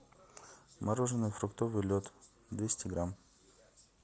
мороженое фруктовый лед двести грамм